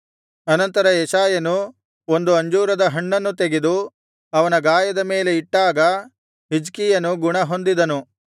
ಅನಂತರ ಯೆಶಾಯನು ಒಂದು ಅಂಜೂರಹಣ್ಣನ್ನು ತೆಗೆದು ಅವನ ಗಾಯದ ಮೇಲೆ ಇಟ್ಟಾಗ ಹಿಜ್ಕೀಯನು ಗುಣಹೊಂದಿದನು